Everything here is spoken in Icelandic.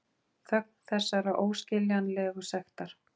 Þögn þessarar óskiljanlegu sektar.